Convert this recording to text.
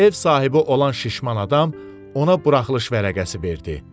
Ev sahibi olan şişman adam ona buraxılış vərəqəsi verdi.